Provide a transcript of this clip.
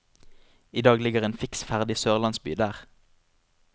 I dag ligger en fiks ferdig sørlandsby der.